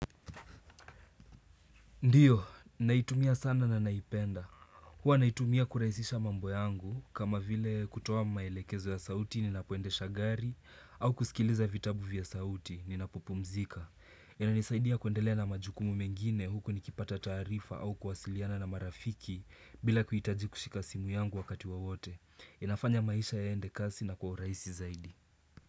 Ndiyo, naitumia sana na naipenda. Huwa naitumia kuraisisha mambo yangu kama vile kutoa maelekezo ya sauti ninapo endesha gari au kusikiliza vitabu vya sauti ninapupu mzika. Inanisaidia kuendele na majukumu mengine huku nikipata tarifa au kuwasiliana na marafiki bila kuitaji kushika simu yangu wakati wa wote. Inafanya maisha ya endekasi na kuwa raisi zaidi.